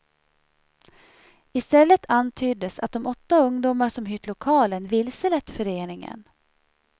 I stället antyddes att de åtta ungdomar som hyrt lokalen vilselett föreningen.